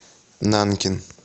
нанкин